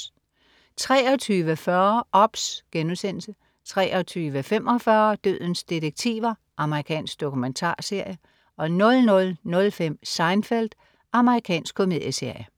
23.40 OBS* 23.45 Dødens detektiver. Amerikansk dokumentarserie 00.05 Seinfeld. Amerikansk komedieserie